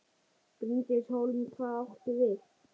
Bryndís Hólm: Hvað áttu við?